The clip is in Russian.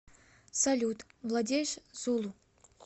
салют владеешь зулу